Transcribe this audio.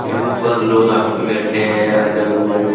यहाँ पर लोग आ के बैठे हैं आजम में।